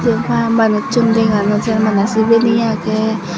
jenpai manuchun dega nw jaai bana sibeni agey.